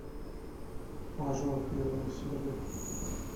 мажор первая серия